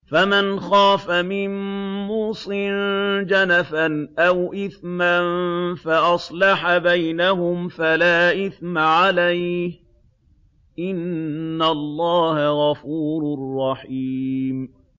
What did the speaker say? فَمَنْ خَافَ مِن مُّوصٍ جَنَفًا أَوْ إِثْمًا فَأَصْلَحَ بَيْنَهُمْ فَلَا إِثْمَ عَلَيْهِ ۚ إِنَّ اللَّهَ غَفُورٌ رَّحِيمٌ